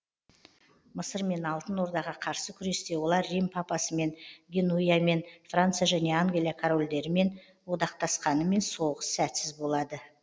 мысыр мен алтын ордаға қарсы күресте олар рим папасымен генуямен франция және англия корольдерімен одақтасқанымен соғыс сәтсіз болады